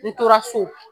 N tora so